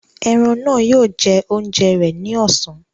Eran náà yóò jẹ oúnjẹ rẹ ni ọ̀sán.